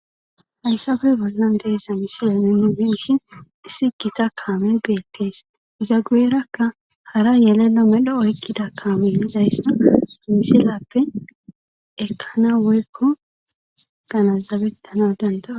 Hayssabe bollan deeza misila nune biishin isi gita kaame geettees izagueerakka hara yelelo medho oykkida kaame lizayssa misilappe ekkana woykko ganazabettana dandaa